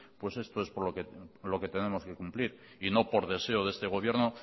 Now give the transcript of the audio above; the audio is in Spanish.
pues esto es lo que tenemos que cumplir y no por deseo de este gobierno